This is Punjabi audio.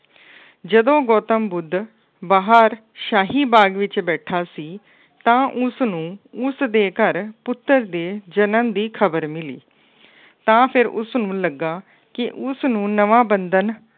ਜਦੋੋਂ ਗੌਤਮ ਬੁੱਧ ਬਾਹਰ ਸ਼ਾਹੀ ਬਾਗ ਵਿੱਚ ਬੈਠਾ ਸੀ ਤਾਂ ਉਸਨੂੰ ਉਸਦੇ ਘਰ ਪੁੱਤਰ ਦੇ ਜਨਮ ਦੀ ਖਬਰ ਮਿਲੀ। ਤਾਂ ਫਿਰ ਉਸਨੂੰ ਲੱਗਾ ਕਿ ਉਸਨੂੰ ਨਵਾਂ ਬੰਧਨ